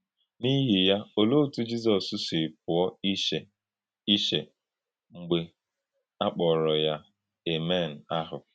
N’íhìyà, olèé òtú Jízọs sị pụ̀ọ̀ ìchè ìchè mgbe a kpọ̀rọ̀ yá “Àmèn ahụ”?